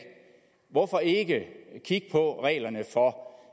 hvorfor ikke kigge på reglerne for